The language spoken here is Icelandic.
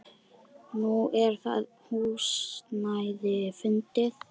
Nú er það húsnæði fundið.